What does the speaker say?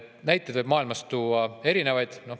Näiteid võib maailmast tuua erinevaid.